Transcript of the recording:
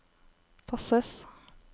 passes